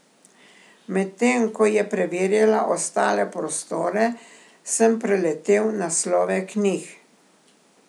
Medtem ko je preverjala ostale prostore, sem preletel naslove knjig.